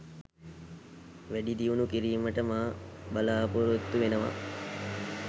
වැඩිදියුණු කිරීමට මා බලාපොරොත්තු වෙනවා.